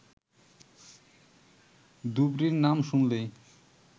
ধুবড়ী-র নাম শুনলেই